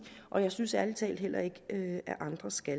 og jeg synes ærlig talt heller ikke at andre skal